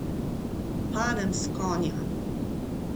Padem s konja!